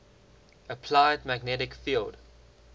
applied magnetic field